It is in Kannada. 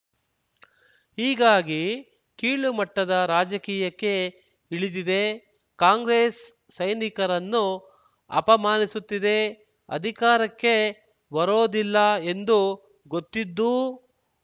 ಹೀಗಾಗಿ ಕೀಳುಮಟ್ಟದ ರಾಜಕೀಯಕ್ಕೆ ಇಳಿದಿದೆ ಕಾಂಗ್ರೆಸ್ ಸೈನಿಕರನ್ನು ಅಪಮಾನಿಸುತ್ತಿದೆ ಅಧಿಕಾರಕ್ಕೆ ಬರೊದಿಲ್ಲ ಎಂದು ಗೊತ್ತಿದ್ದೂ